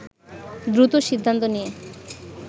দ্রুত সিদ্ধান্ত নিয়ে